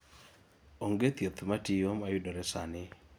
onge thieth matiyo mayudore sani